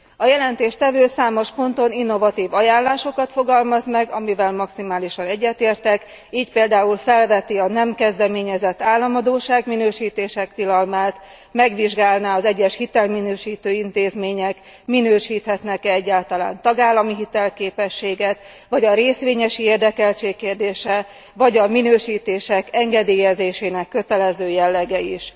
A jelentéstevő számos ponton innovatív ajánlásokat fogalmaz meg, amikkel maximálisan egyetértek, így például felveti a nem kezdeményezett államadósság minősítések tilalmát, megvizsgálná, hogy az egyes hitelminősítő intézmények minősíthetnek e egyáltalán tagállami hitelképességet, vagy a részvényesi érdekeltség kérdése, vagy a minősítések engedélyezésének kötelező jellege is.